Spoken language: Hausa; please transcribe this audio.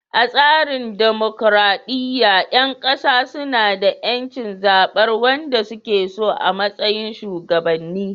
A tsarin dimokuradiyya, ƴan kasa suna da ƴancin zabar wanda suke so a matsayin shugabanni.